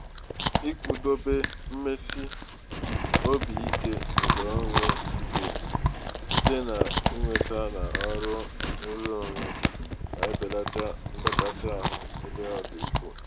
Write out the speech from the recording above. ịkwụdobe mmesi obi ike nke onwe site n'inweta n'ọrụ nrụrụonwe na-ebelata ndọkasị ahụ ebe ọ dị ukwu.